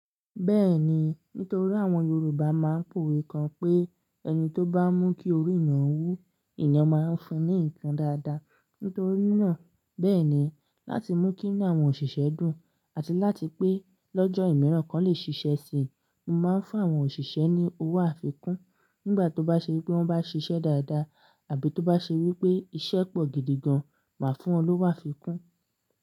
Bẹ́ẹ̀ni, nítorí àwọn Yorùbá máa ń powe kan pé ẹni tó bá mú kí orí eniyan wu, eeyan máa ń fún un ní nǹkan dáadáa. Nítorí náà, bẹ́ẹ̀ ni láti mú kí inú àwọn òṣìṣẹ́ dùn àti láti pé lọ́jọ́ ìmiran kan lè ṣiṣẹ́ si, mo máa ń fún àwọn òṣìṣẹ́ ní owó àfikún nígbà tó bá ṣe wípé wọ́n bá ṣiṣẹ́ dáadáa àbí tó bá ṣe wípé iṣẹ́ pọ̀ gidi gan, màá fún wọn lówá àfikún.